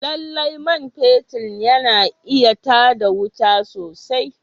Lallai man fetur yana iya tar da wuta sosai